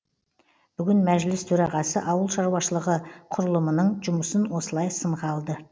бүгін мәжіліс төрағасы ауыл шаруашылығы құрылымының жұмысын осылай сынға алды